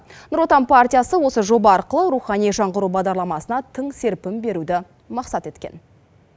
нұр отан партиясы осы жоба арқылы рухани жаңғыру бағдарламасына тың серпін беруді мақсат еткен